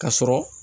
Ka sɔrɔ